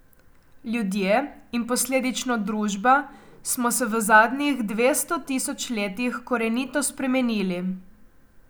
Ljudje, in posledično družba, smo se v zadnjih dvesto tisoč letih korenito spremenili.